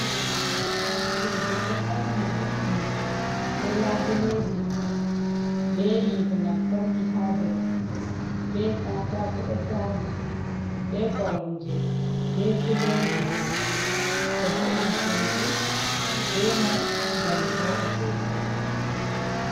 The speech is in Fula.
Sudu ɗo fauni vo'ini be labuleji, be yite namtarki ha dow, be katako ɗo tari, be koromje, be filoji. Ɓe vo'ina sudu be mai ngam voɗa sosai.